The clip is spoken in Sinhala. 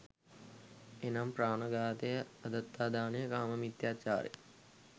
එනම්, ප්‍රාණ ඝාතය, අදත්තාදානය, කාම මිථ්‍යාචාරය